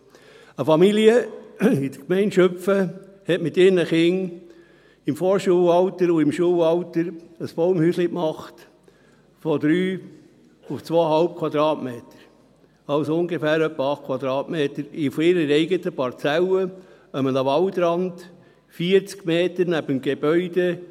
Eine Familie in der Gemeinde Schüpfen hat mit ihren Kindern im Vorschulalter und im Schulalter ein Baumhäuschen erstellt, 3 auf 2,5 Quadratmeter, also ungefähr 8 Quadratmeter, auf ihrer eigenen Parzelle, an einem Waldrand, 40 Meter neben dem Gebäude.